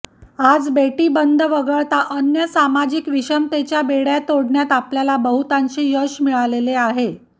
आज बेटीबंदी वगळता अन्य सामाजिक विषमतेच्या बेडय़ा तोडण्यात आपल्याला बहुतांशी यश मिळालेले आहे